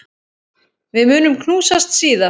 Við munum knúsast síðar.